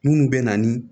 Munnu be na ni